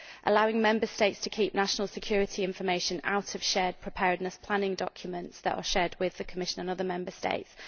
allowing Member States to keep national security information out of preparedness planning documents that are shared with the Commission and other Member States